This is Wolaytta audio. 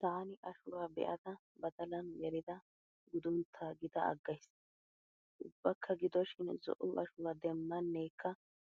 Taani ashuwaa be'ada badalan gelida guduntta gida aggays. Ubbakka gidoshin zo"o ashuwaa demmanekka